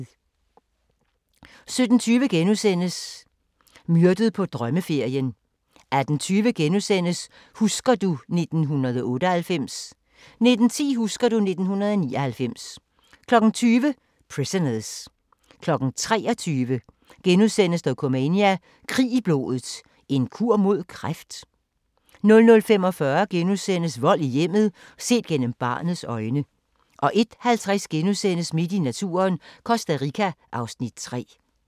17:20: Myrdet på drømmeferien * 18:20: Husker du ... 1998 * 19:10: Husker du ... 1999 20:00: Prisoners 23:00: Dokumania: Krig i blodet – en kur mod kræft? * 00:45: Vold i hjemmet – set gennem barnets øjne * 01:50: Midt i naturen – Costa Rica (Afs. 3)*